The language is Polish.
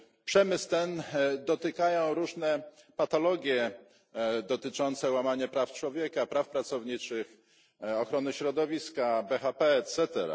Przemysł ten dotykają różne patologie dotyczące łamania praw człowieka, praw pracowniczych, ochrony środowiska, BHP etc.